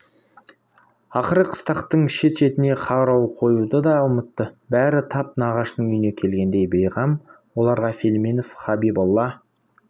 ақыры қыстақтың шет-шетіне қарауыл қоюды да ұмытты бәрі тап нағашысының үйіне келгендей бейғам оларға филимонов хабиболла